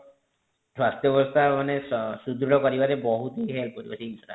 ସ୍ୱାସ୍ଥ୍ୟ ବ୍ୟବସ୍ଥା ମାନେ ସୁଦୃଢ କରିବାରେ ବହୁତ ହି help କରିବ ସେ ଜିନିଷ ଟା